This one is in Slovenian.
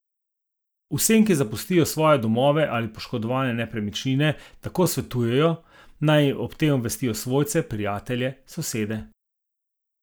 Vsem, ki zapustijo svoje domove ali poškodovane nepremičnine, tako svetujejo, naj o tem obvestijo svojce, prijatelje, sosede.